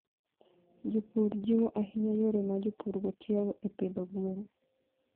Jopur jiwo ahinya yore ma jopurgo tiyogo e pidho gwen.